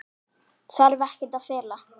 Þarf ekkert að fela.